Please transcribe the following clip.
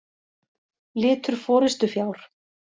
Litur forystufjár.